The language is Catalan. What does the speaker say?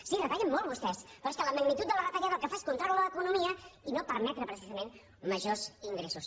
sí retallen molt vostès però és que la magnitud de la retallada el que fa és contraure l’economia i no permetre precisament majors ingressos